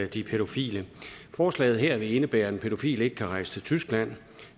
de pædofile forslaget her vil indebære at en pædofil ikke kan rejse til tyskland